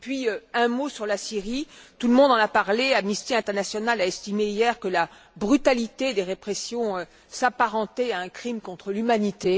Encore un mot sur la Syrie. Tout le monde en a parlé Amnesty international a estimé, hier, que la brutalité des répressions s'apparentait à un crime contre l'humanité.